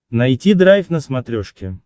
найти драйв на смотрешке